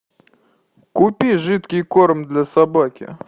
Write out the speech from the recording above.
купи жидкий корм для собаки